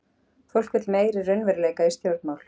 Fólk vill meiri raunveruleika í stjórnmál